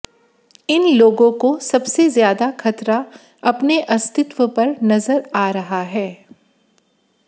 इन लोगों को सबसे ज्यादा खतरा अपने अस्तित्व पर नजर आ रहा है